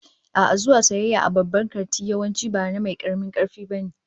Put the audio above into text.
A'a, zuwa sayayya a babban kanti yawanci ba na mai karamin karfi ba ne